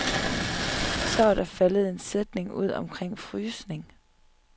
Så var der faldet en sætning ud omkring frysning.